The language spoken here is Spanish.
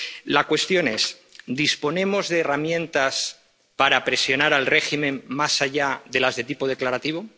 La cuestión es ¿disponemos de herramientas para presionar al régimen más allá de las de tipo declarativo?